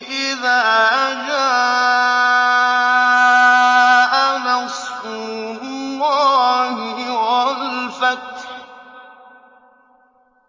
إِذَا جَاءَ نَصْرُ اللَّهِ وَالْفَتْحُ